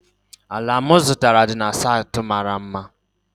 ala m zụtara dị na saịtị mara mma